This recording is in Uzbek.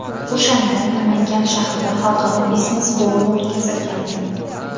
O‘shanda Namangan shahrida xalqaro biznes forumi o‘tkazilgandi.